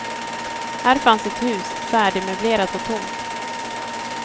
Här fanns ett hus, färdigmöblerat och tomt.